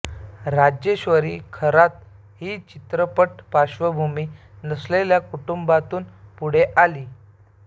राजेश्वरी खरात ही चित्रपट पार्श्वभूमी नसलेल्या कुटुंबातून पुढे आली